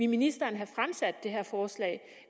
ministeren have fremsat det her forslag